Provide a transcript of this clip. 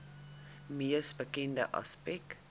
mees bekende aspek